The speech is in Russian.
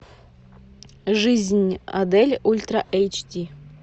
жизнь адель ультра эйч ди